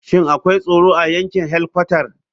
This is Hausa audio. Shin akwai tsaro a yankin helkwatar?